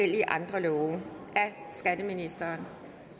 der nogen der ønsker